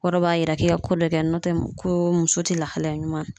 Kɔrɔ b'a yira k'i ka ko dɔ kɛ n'o tɛ ko muso te lahalaya ɲuman